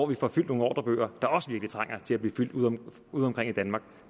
vi får fyldt nogle ordrebøger der også virkelig trænger til at blive fyldt udeomkring udeomkring i danmark